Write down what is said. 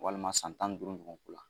Walima san tan ni duuru ɲɔgɔnko la.